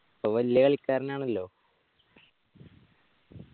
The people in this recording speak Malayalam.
ഇപ്പൊ വെല്ല കളിക്കാരനാണല്ലോ